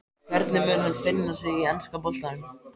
Hvernig mun hann finna sig í enska boltanum?